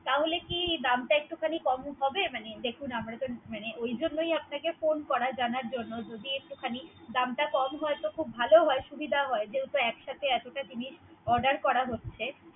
তাহলে দাম টা কি একটু খানি কম হবে। মানে দেখুন আমরা তো মানে ওই জন্য আপনাকে ফোন করা জানার জন্য । যদি একটু খানি দামটা কম হয় তো খুব ভালো হয়। সুবিধা হয়। যেহেতু একসাথে এতটা জিনিস Order করা হচ্ছে।